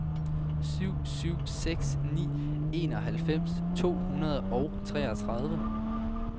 syv syv seks ni enoghalvfems to hundrede og treogtredive